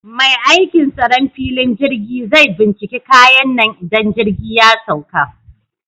Mai aikin tsaron filin jirgi zai binciki kayan nan idan jirgi ya sauka